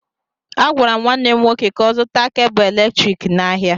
Agwara m nwanne m nwoke ka ọ zụta kebụ eletriki n'ahịa